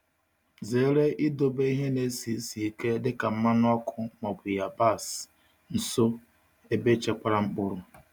Zere idobe ihe na-esi ísì ike dịka mmanụ ọkụ ma ọ bụ yabasị nso ebe echekwara mkpụrụ.